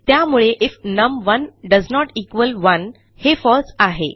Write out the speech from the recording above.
त्यामुळे आयएफ नम1 does not equal 1 हे फळसे आहे